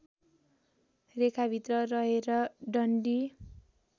रेखाभित्र रहेर डन्डी